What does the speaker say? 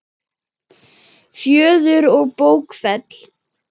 Fjöður og bókfell